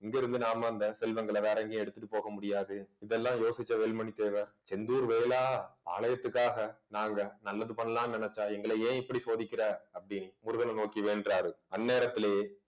இங்கிருந்து நாம அந்த செல்வங்களை வேற எங்கயும் எடுத்துட்டு போக முடியாது. இதெல்லாம் யோசிச்ச வேலுமணி தேவர் செந்தூர் வேலா ஆலயத்துக்காக நாங்க நல்லது பண்ணலாம்ன்னு நினைச்சா எங்களை ஏன் இப்படி சோதிக்கிற அப்படின்னு முருகனை நோக்கி வேண்டுறாரு அந்நேரத்திலேயே